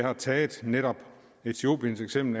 har taget etiopien som